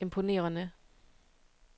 imponerende